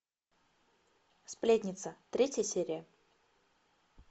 сплетница третья серия